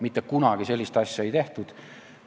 Mitte kunagi ei ole sellist asja tehtud.